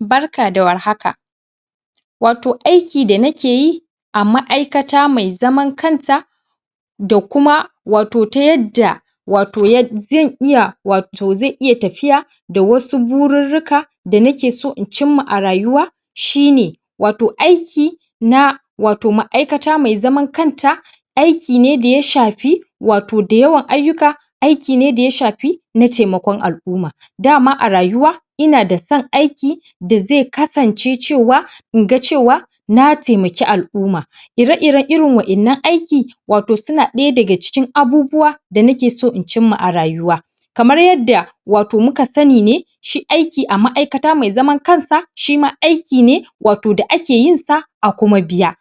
Barka da warhaka wato aiki da nake yi a ma'aikata me zaman kan ta da kuma wato ta yadda wato zai iya, wato zai iya tafiya da wasu bururruka da nake so in ci ma a rayuwa shi ne wato aiki na wato ma'aikata me zaman kan ta aiki ne da ya shafi wato da yawan ayyuka aiki ne da ya shafi na taimakon al'umma dama a rayuwa ina da son aiki da ze kasance cewa in ga cewa na taimaki al'umma ire-iren irin waƴannan aiki wato suna ɗaya daga cikin abubuwa da nake so in cin ma a rayuwa kamar yadda wato muka sani ne shi aiki a ma'aikata me zaman kan sa shi ma aiki ne wato da ake yin sa a kuma a biya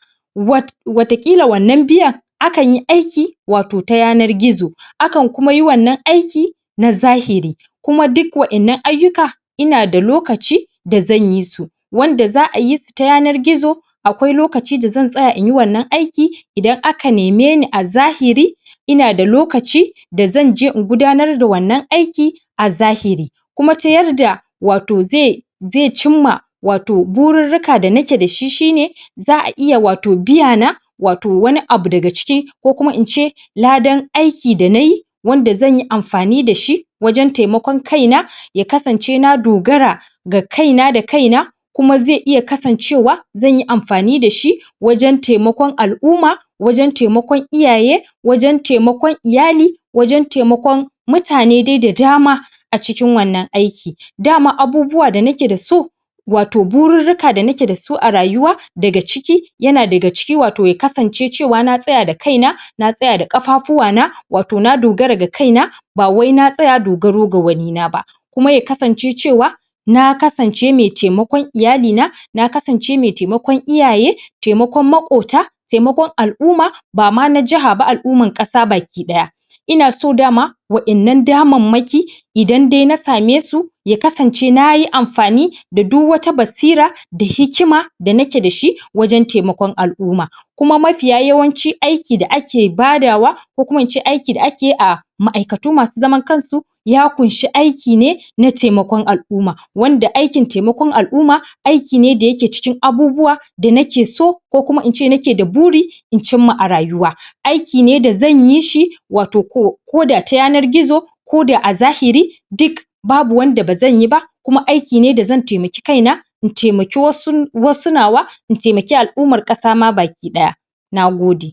wataƙila wannan biyan akan yi aiki wato ta yanar gizo akan kuma yi wannan aiki na zahiri kuma duk waƴannan ayyuka ina da lokaci da zan yi su wanda za'a yi su ta yanar gizo akwai lokaci da zan tsaya in yi wannan aiki idan aka neme ni a zahiri ina da lokaci da zanje in gudanar da wannan aiki a zahiri kuma ta yarda wato ze ze cimma wato bururruka da nake da shi shi ne za'a iya wato biya na, wato wani abu daga ciki ko kuma in ce ladan aiki da nayi wanda zan yi amfani da shi wajen taimakon kai na ya kasance na dogara ga kai na, da kai na kuma zai iya kasancewa zanyi amfani da shi wajen taimakon al'umma, wajen taimakon iyaye wajen taimakon iyali, wajen taimakon mutane dai da dama a cikin wannan aiki, da ma abubuwa da nake da su wato bururruka da nake da su a rayuwa daga ciki yana daga ciki wato ya kasance cewa na tsaya da kaina na tsaya da ƙafafuwa na wato na dogara ga kai na ba wai na tsaya dogaro ga wani na ba, kuma ya kasance cewa na kasance me taimakon iyali na na kasance me taimakon iyaye, taimakon maƙota taimakon al'umma bama na jaha ba al'umman ƙasa bakiɗaya ina so dama waƴannan damammaki idan dai na same su ya kasance nayi amfani da duk wata basira da hikima da nake da shi wajen taimakon al'umma kuma mafiya yawanci aiki da ake badawa ko kuma in ce aiki da ake yi a ma'aikatu masu zaman kan su ya kunshi aiki ne na taimakon al'umma wanda aikin taiimakon al'umma aiki ne da yake cikin abubuwa da nake so ko kuma in ce da nake da buri in cimma a rayuwa aiki ne da zan yi shi wato ƙo ko da ta yanar gizo ko da a zahiri duk babu wanda ba zan yi ba kuma aiki ne da zan taimaki kai na in taimaki wasu nawa in taimaki al'ummar ƙasa ma bakiɗaya na gode.